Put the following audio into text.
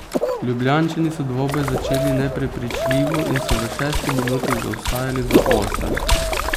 Ljubljančani so dvoboj začeli neprepričljivo in so v šesti minuti zaostajali za osem.